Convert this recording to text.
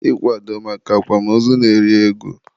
ịkwado maka akwamozu na-eri ego.